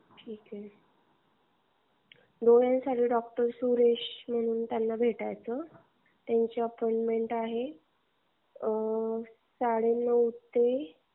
ठीक आहे डोळ्यांसाठी डॉक्टर सुरेश म्हणून हे त्यांना भेटायचं. त्यांची अपॉइंटमेंट आहे साडेनऊ ते.